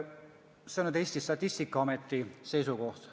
See on Eesti Statistikaameti seisukoht.